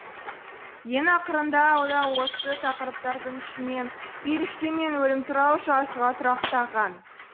ең ақырында ол осы тақырыптардың ішінен періште мен өлім туралы жазуға тұрақтаған